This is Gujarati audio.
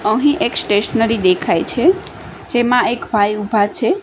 અહીં એક સ્ટેશનરી દેખાય છે જેમા એક ભાઈ ઊભા છે.